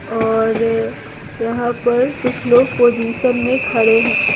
और यहाँ पर कुछ लोग पोजीशन में खड़े हैं।